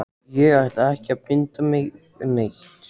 Ég ætla ekki að binda mig neitt.